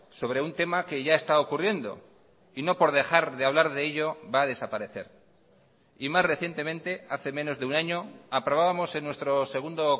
sobre un tema que ya está ocurriendo y no por dejar de hablar de ello va a desaparecer y más recientemente hace menos de un año aprobábamos en nuestro segundo